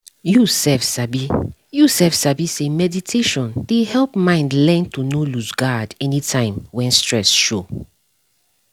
you sef sabi you sef sabi say meditation dey help mind learn to nor lose guard anytime when stress show